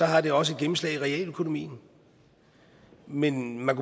har det også et gennemslag i realøkonomien men man